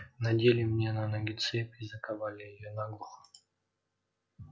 надели мне на ноги цепь и заковали её наглухо